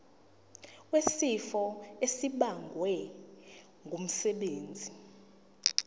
wesifo esibagwe ngumsebenzi